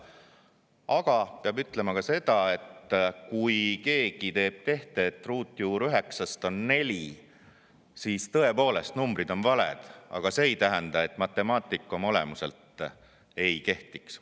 Samas peab ütlema seda, et kui keegi teeb tehte, et ruutjuur üheksast on neli, siis tõepoolest numbrid on valed, aga see ei tähenda, et matemaatika oma olemuselt ei kehtiks.